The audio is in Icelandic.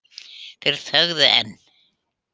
Þeir þögðu enn.